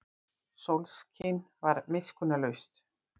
Sólskin var miskunnarlaust.